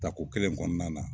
Tako kelen in kɔnɔna na.